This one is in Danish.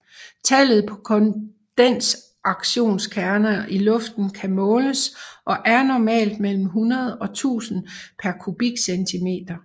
Tallet på kondensationskerner i luften kan måles og er normalt mellem 100 og 1000 per kubikcentimeter